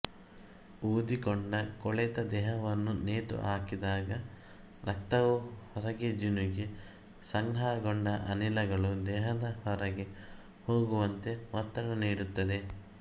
ಊದಿಕೊಂಡ ಕೊಳೆತ ದೇಹವನ್ನು ನೇತುಹಾಕಿದಾಗ ರಕ್ತವು ಹೊರಗೆ ಜಿನುಗಿ ಸಂಗ್ರಹಗೊಂಡ ಅನಿಲಗಳು ದೇಹದ ಹೊರಗೆ ಹೋಗುವಂತೆ ಒತ್ತಡ ನೀಡುತ್ತದೆ